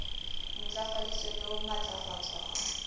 ntlafaditsweng le ho matlafatswa ho